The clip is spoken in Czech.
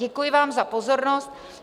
Děkuji vám za pozornost.